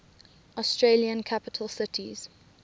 australian capital cities